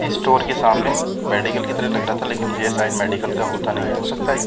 इस स्टोर के सामने मेडिकल की तरह लग रहा था लेकिन ये साइज मेडिकल का होता नहीं है हो सकता है --